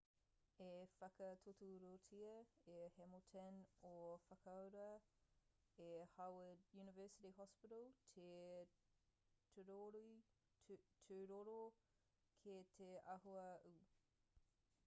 i whakatūturutia e hamilton i whakaurua e howard university hospital te tūroro ki te āhua ū